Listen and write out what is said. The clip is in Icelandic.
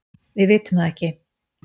Við vitum það ekki.